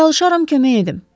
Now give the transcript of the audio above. Çalışaram kömək edim.